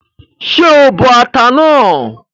Ṣé o bọ ata náà?